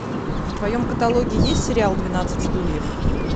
в твоем каталоге есть сериал двенадцать стульев